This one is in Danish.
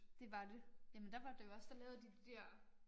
Det var det. Jamen der var det jo også der lavede de de dér